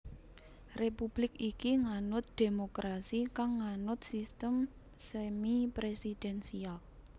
Republik iki nganut dhémokrasi kang nganut sistem semi presidensial